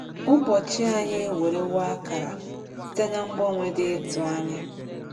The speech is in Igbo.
Ụbọchị anyị ewerewo akara site n’ mgbanwe dị ịtụnanya.